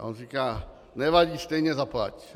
A on říká - nevadí, stejně zaplať!